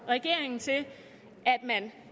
regeringen til at man